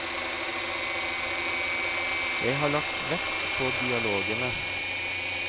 Jeg har lagt vekt på dialogene.